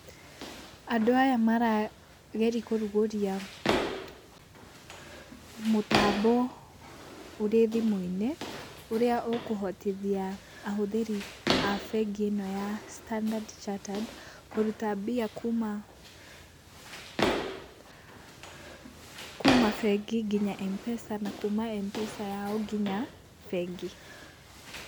Andũ aya mara geri kũrugũria mũtambo ũrĩ thimũ-inĩ ũrĩa ũkohotithia ahũthĩri a bengi ĩno ya Standard Chartered, kũruta mbia kuma kuma bengi nginya M-Pesa na kuma M-Pesa yao nginya bengi.